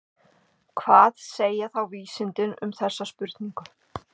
Hvað segja þá vísindin um þessa spurningu?